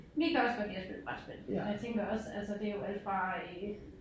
Vi kan også godt lide at spille brætspil og jeg tænker også altså det jo alt fra øh